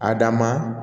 A dan ma